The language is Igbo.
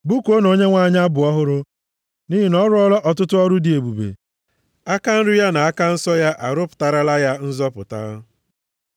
Bụkuonụ Onyenwe anyị abụ ọhụrụ, + 98:1 \+xt Abụ 96:1\+xt* nʼihi na ọ rụọla ọtụtụ ọrụ dị ebube; aka nri ya na aka nsọ ya arụpụtarala ya nzọpụta.